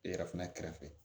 I yɛrɛ fana kɛrɛfɛ